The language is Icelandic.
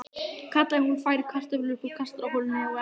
kallaði hún og færði kartöflur upp úr kastarolunni á eldavélinni.